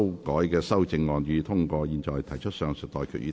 我現在向各位提出上述待決議題。